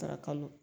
Sarakaw